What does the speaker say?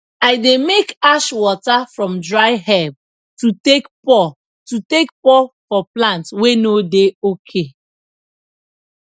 i dey make ash water from dry herb to take pour to take pour for plant wey no dey ok